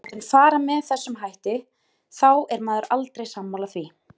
Þegar maður er látinn fara með þessum hætti þá er maður aldrei sammála því.